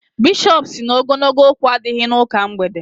Bishọp sị na ogologo okwu adịghị n'ụka mgbede.